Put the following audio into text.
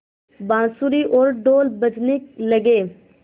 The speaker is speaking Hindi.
बाँसुरी और ढ़ोल बजने लगे